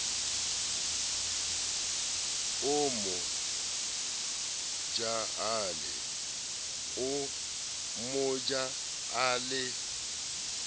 o mo ja a le